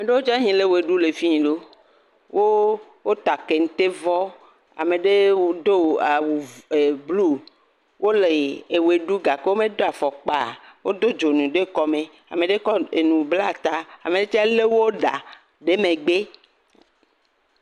Ame aɖewo le ʋe ɖum le afi. Wota kentevɔ, ame aɖewo do awu blu, wole ʋe ɖum gake womedo afɔkpa o. Wodo dzonu ɖe kɔme. Ame aɖe kɔ nu bla ta, ame aɖe tsɛ lé wo ɖa ɖe ta.